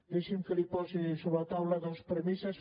deixi’m que li posi sobre la taula dues premisses